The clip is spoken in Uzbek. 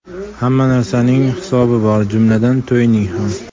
Hamma narsaning hisobi bor, jumladan, to‘yning ham.